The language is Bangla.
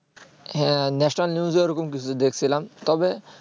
হ্যাঁ national news ওরকম কিছু দেখছিলাম তবে